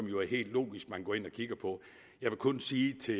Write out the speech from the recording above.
jo er helt logisk at man går ind og kigger på jeg vil kun sige til